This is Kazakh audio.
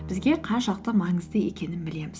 бізге қаншалықты маңызды екенін білеміз